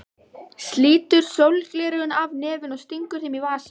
Slítur sólgleraugun af nefinu og stingur þeim í vasann.